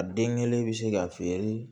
A den kelen bɛ se ka feere